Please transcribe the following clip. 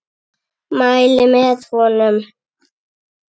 Mæli með honum.